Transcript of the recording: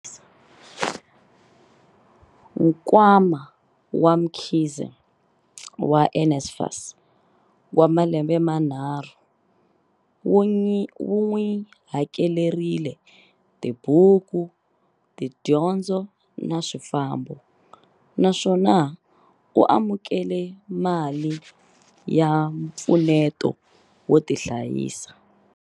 Nkwama wa Mkhize wa NSFAS wa malembe manharhu wu n'wi hakelerile tibuku, tidyondzo na swifambo, naswona u amukele mali ya mpfuneto wo tihlayisa.